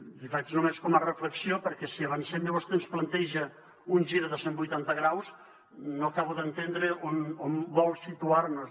l’hi faig només com a reflexió perquè si avancem i vostè ens planteja un gir de cent vuitanta graus no acabo d’entendre on vol situar nos